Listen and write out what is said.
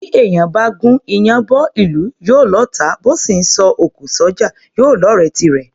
Bí èèyàn bá gún iyán bọ́ ìlú, yóò lọ́ọ̀tá; bó sì ńsọ òkò s’ọ́jà, yóò lọ́ọ̀rẹ́ tirẹ̀.